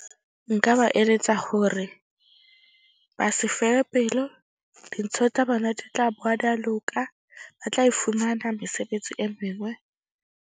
Nka ba eletsa hore ba se fele pelo dintho tsa bona di tla bowa di a loka, ba tla e fumana mesebetsi e mengwe.